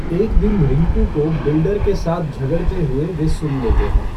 एक दिन रिंकू को बिल्डर के साथ झगड़ते हुए वे सुन लेते हैं।